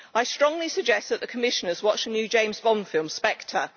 I strongly suggest that the Commissioners watch the new James Bond film, Spectre.